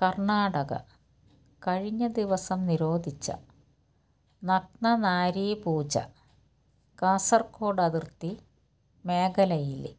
കര്ണാടക കഴിഞ്ഞ ദിവസം നിരോധിച്ച നഗ്നനാരീപൂജ കാസര്ഗോഡ് അതിര്ത്തി മേഖലയില്